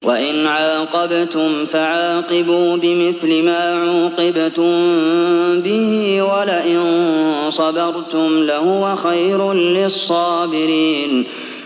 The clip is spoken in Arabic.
وَإِنْ عَاقَبْتُمْ فَعَاقِبُوا بِمِثْلِ مَا عُوقِبْتُم بِهِ ۖ وَلَئِن صَبَرْتُمْ لَهُوَ خَيْرٌ لِّلصَّابِرِينَ